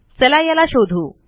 चल याला शोधू